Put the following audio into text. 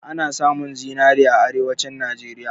Ana samun zinari a Arewacin Najeriya.